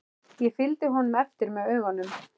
Ég fylgdi honum eftir með augunum.